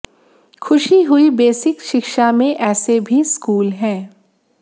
खुशी हुई बेसिक शिक्षा में ऐसे भी स्कूल हैं